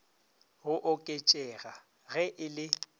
go oketšega ge e le